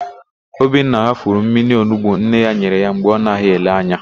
Obinna ghafuru mmiri onigbo nne ya nyere ya mgbe ọ naghị ele anya.